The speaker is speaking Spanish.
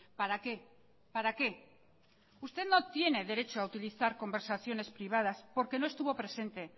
para qué para qué usted no tiene derecho a utilizar conversaciones privadas porque no estuvo presente